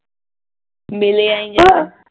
ਮਿਲਿਆ ਹੀ ਨਹੀ